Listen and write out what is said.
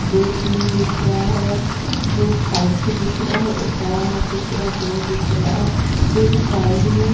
दो तीन दिख रहा है दो साइड से दिख रहा है एक तारा माछी पूरा गोल दिख रहा है फिर साइड मैं --